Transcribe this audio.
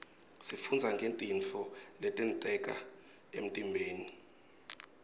sifundza ngetintfo letenteka emtimbeni